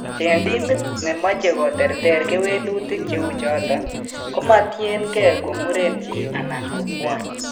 Eng' timit nemoche koterter kewelutik cheyuu choton, komatiengee ko muren chi anan ko kwony.